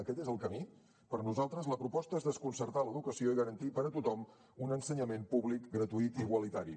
aquest és el camí per nosaltres la proposta és desconcertar l’educació i garantir per a tothom un ensenyament públic gratuït i igualitari